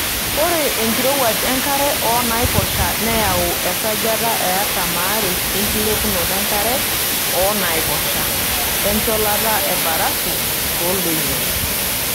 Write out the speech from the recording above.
Ore enkirowuaj enkare oonaiposha neyawua esajata e 42% enkilepunoto enkare oo naiposha, encholata embarafu tooldonyio.